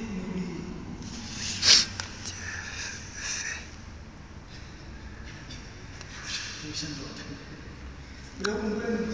ndive umqhagi